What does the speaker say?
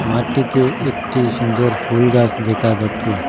মাটিতে একটি সুন্দর ফুল গাস দেখা যাচ্ছে।